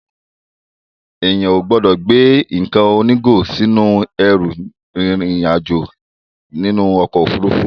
Èèyàn ò gbọ́dọ̀ gbé nǹkan onígò sínú ẹrù rin ìrìn àjò nínú ọkọ̀ Òfurufú.